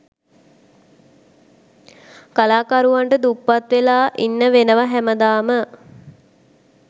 කලාකරුවන්ට දුප්පත් වෙලා ඉන්න වෙනව හැමදාම.